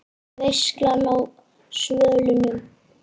VEISLAN Á SVÖLUNUM